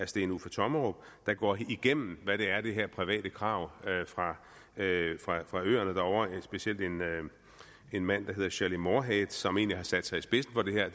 steen uffe tommerup der går igennem hvad det er de her private krav fra øerne derovre det er specielt en en mand der hedder shelley moorhead som egentlig har sat sig i spidsen for det her